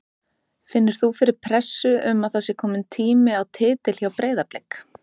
Finnur þú fyrir pressu um að það sé komin tími á titil hjá Breiðablik?